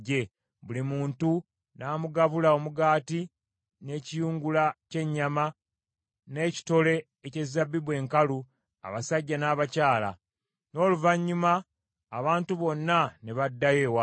buli muntu n’amugabula omugaati, n’ekiyungula ky’ennyama, n’ekitole eky’ezabbibu enkalu, abasajja n’abakyala. N’oluvannyuma abantu bonna ne baddayo ewaabwe.